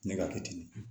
Ne ka kɛ ten